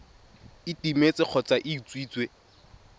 e timetse kgotsa e utswitswe